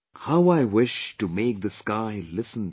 How I wish to make the sky listen to